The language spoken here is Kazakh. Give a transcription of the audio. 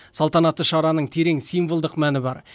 салтанатты шараның терең символдық мәні бар